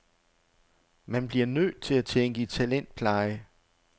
Man bliver nødt til at tænke i talentpleje.